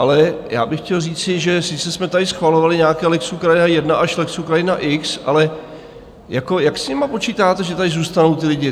Ale já bych chtěl říci, že sice jsme tady schvalovali nějaké lex Ukrajina I až lex Ukrajina X, ale jak s nimi počítáte, že tady zůstanou, ti lidi?